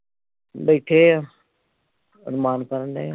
ਬੈਠੇ ਆ ਅਰਮਾਨ ਕਰਨ ਦਏ